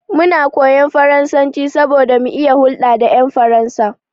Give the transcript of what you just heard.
Muna koyan faransanci saboda mu iya hulɗa da ƴan Faransa.